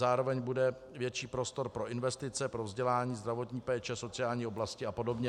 Zároveň bude větší prostor pro investice, pro vzdělání, zdravotní péči, sociální oblasti a podobně.